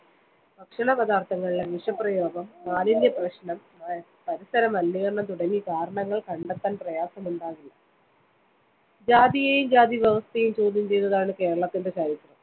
ഭക്ഷണ പദാർത്ഥങ്ങളിലെ വിഷപ്രയോഗം, മാലിന്യ പ്രശ്‌നം, പരിസര മലിനീകരണം തുടങ്ങി കാരണങ്ങൾ കണ്ടെത്താൻ പ്രയാസമുണ്ടാകില്ല. ജാതിയേയും ജാതിവ്യവസ്ഥയേയും ചോദ്യം ചെയ്തതാണ്‌ കേരളത്തിന്റെ ചരിത്രം.